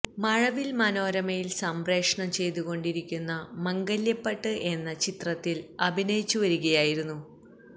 മഴവില് മനരോമയില് സംപ്രേക്ഷണം ചെയ്തുകൊണ്ടിരിയ്ക്കുന്ന മംഗല്യപ്പട്ട് എന്ന ചിത്രത്തില് അഭിനയിച്ചുവരികയായിരുന്നു